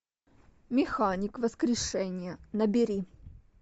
механик воскрешение набери